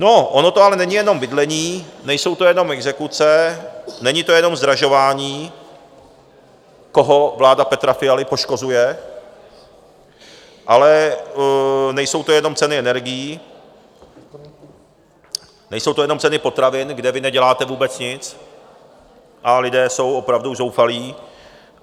No ono to ale není jenom bydlení, nejsou to jenom exekuce, není to jenom zdražování, koho vlády Petra Fialy poškozuje, ale nejsou to jenom ceny energií, nejsou to jenom ceny potravin, kde vy neděláte vůbec nic, a lidé jsou opravdu zoufalí.